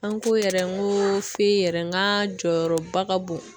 An ko yɛrɛ n ko yɛrɛ n ka jɔyɔrɔba ka bon